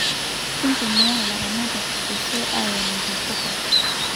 Kitumia ilaramatak irgoso aen intapuka